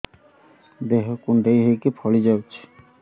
ଦେହ କୁଣ୍ଡେଇ ହେଇକି ଫଳି ଯାଉଛି